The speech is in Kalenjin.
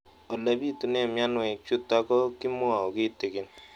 Ole pitune mionwek chutok ko kimwau kitig'�n